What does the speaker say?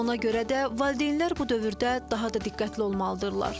Ona görə də valideynlər bu dövrdə daha da diqqətli olmalıdırlar.